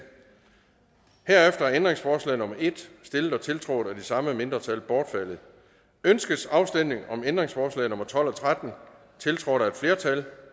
herefter er ændringsforslag nummer en stillet og tiltrådt af de samme mindretal bortfaldet ønskes afstemning om ændringsforslag nummer tolv og tretten tiltrådt af et flertal